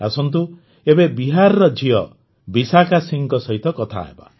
ଆସନ୍ତୁ ଏବେ ବିହାରର ଝିଅ ବିଶାଖା ସିଂହଙ୍କ ସହିତ କଥା ହେବା